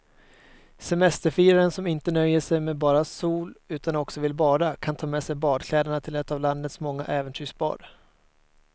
Semesterfiraren som inte nöjer sig med bara sol utan också vill bada kan ta med sig badkläderna till ett av landets många äventyrsbad.